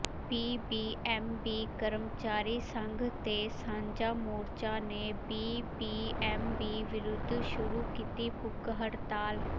BBMB ਕਰਮਚਾਰੀ ਸੰਘ ਤੇ ਸਾਂਝਾ ਮੋਰਚਾ ਨੇ ਬੀਬੀਐਮਬੀ ਵਿਰੁੱਧ ਸ਼ੁਰੂ ਕੀਤੀ ਭੁੱਖ ਹੜਤਾਲ